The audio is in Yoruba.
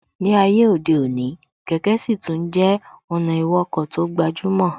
Ní ayé òde òní, kẹ̀kẹ́ sì tún jẹ́ ọ̀nà ìwọkọ̀ tó gbajúmọ̀